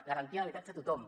garantia d’habitatge a tothom